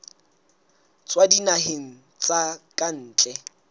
tswa dinaheng tsa ka ntle